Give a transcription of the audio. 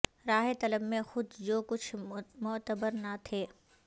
راہ طلب میں خود جو کچھ معتبر نہ تھے